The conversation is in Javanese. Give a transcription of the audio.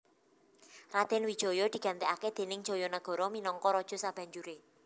Radèn Wijaya digantèkaké déning Jayanagara minangka raja sabanjuré